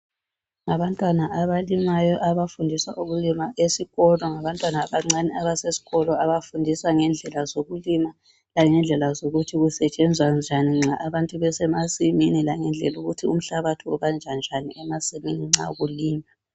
Ngabantwana abalimayo abafundiswa ukulima esikolo ngabantwana abancane abasesikolo abafundiswa ngendlela zokulima langendlela zokuthi kusetshenzwa njani nxa abantu besemasimini langendlela ukuthi umhlabathi ubanjwa njani emasimini nxa kulinywa.